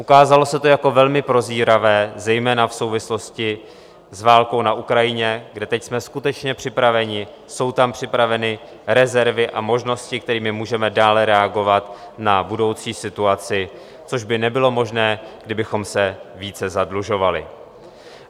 Ukázalo se to jako velmi prozíravé zejména v souvislosti s válkou na Ukrajině, kde teď jsme skutečně připraveni, jsou tam připraveny rezervy a možnosti, kterými můžeme dále reagovat na budoucí situaci, což by nebylo možné, kdybychom se více zadlužovali.